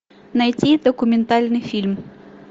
найти документальный фильм